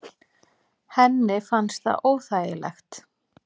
Henni fannst það óþægilegt.